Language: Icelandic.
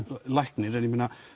læknir en